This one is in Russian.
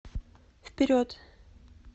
вперед